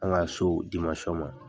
An ka so ma